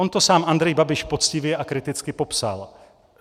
On to sám Andrej Babiš poctivě a kriticky popsal.